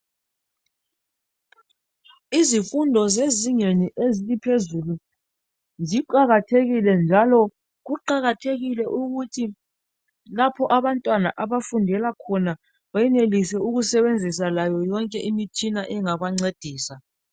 izifundo zezingeni eliphezulu ziqakathekile njalo kuqakathekile ukuthi lapho abantwana abafundela khona benelise ukusebenzisa layo yonke imitshina engabancedisa